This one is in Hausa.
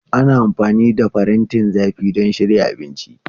Ana amfani da farantin zafi don shirya abinci.